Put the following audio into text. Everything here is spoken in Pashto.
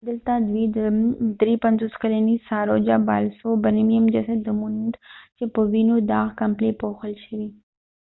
دلته دوی د 53 کلنې ساروجا بالسوبرمینیم جسد وموند چې په وینو داغ کمپلې پوښل شوي